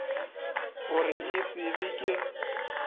gore e se be ke